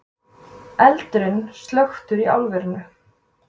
Eldurinn slökktur í álverinu